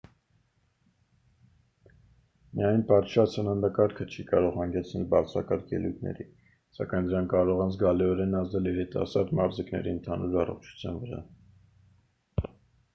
միայն պատշաճ սննդակարգը չի կարող հանգեցնել բարձրակարգ ելույթների սակայն դրանք կարող են զգալիորեն ազդել երիտասարդ մարզիկների ընդհանուր առողջության վրա